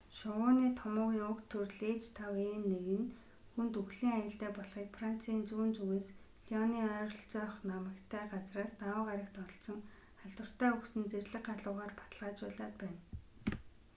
шувууны томуугийн уг төрөл h5n1 нь хүнд үхлийн аюултай болохыг францын зүүн зүгээс лионы ойролцоох намагтай газраас даваа гарагт олдсон халдвартай үхсэн зэрлэг галуугаар баталгаажуулаад байна